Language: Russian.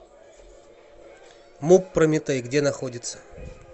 муп прометей где находится